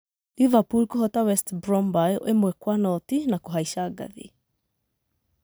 Liverpool kũhoota West Brom mbaũ ĩmwe kwa noti na kũhaica ngathĩ.